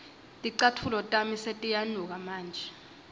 ticatfulo tami setiyanuka manje